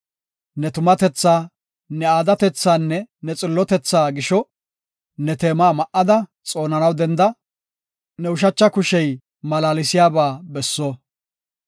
Ne tumatethaa, ne aadatethanne ne xillotetha gisho, ne teema ma7ada xoonanaw denda; ne ushacha kushey malaalsiyaba besso.